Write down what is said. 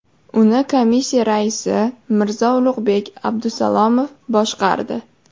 Uni komissiya raisi Mirzo-Ulug‘bek Abdusalomov boshqardi.